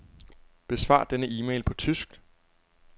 Besvar denne e-mail på tysk.